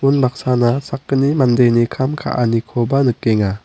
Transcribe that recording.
unbaksana sakgni mandeni kam ka·anikoba nikenga.